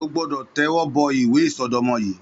Ó gbọdọ tẹwọbọ ìwé isọdọmọ yi